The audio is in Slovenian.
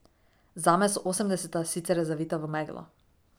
Zame so osemdeseta sicer zavita v meglo.